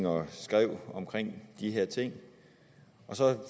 og skrev om de her ting og så